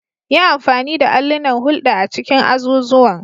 Yi amfani da allunan hulɗa a cikin azuzuwan.